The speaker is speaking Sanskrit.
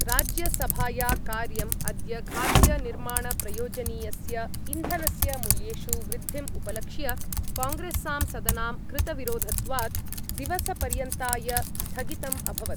राज्यसभाया कार्यम् अद्य खाद्यनिर्माणप्रयोजनीयस्य इन्धनस्य मूल्येषु वृद्धिम् उपलक्ष्य कांग्रेस्सांसदनां कृतविरोधत्वात् दिवसपर्यन्ताय स्थगितम् अभवत्।